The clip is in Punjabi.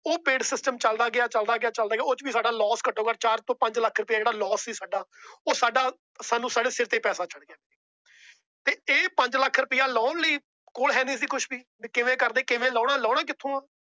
ਉਹ paid system ਚਲਦਾ ਗਿਆ ਚਲਦਾ ਗਿਆ ਚਲਦਾ ਗਿਆ । ਉਹਦੇ ਚ ਵੀ ਸਾਡਾ LOSS ਘਟੋ ਘੱਟ ਚਾਰ ਪੰਜ ਲੱਖ ਰੁਪਯਾ ਜੇੜਾ LOSS ਸੀ ਸਾਡਾ। ਉਹ ਸਾਡਾ ਸਿਰ ਤੇ ਪੈਸਾ ਚੜ ਗਿਆ। ਤੇ ਇਹ ਪੰਜ ਲੱਖ ਰੁਪਇਆ ਲਾਉਣ ਲਈ ਕੋਲ ਹੈ ਨਹੀਂ ਸੀ ਕੁਛ ਵੀ। ਕਿਵੇਂ ਕਰਦੇ ਕਿੰਵੇ ਲਾਉਣਾ ਲਾਉਣਾ ਕਿਥੋਂ ਆ? ।